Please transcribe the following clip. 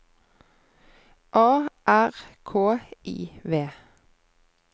A R K I V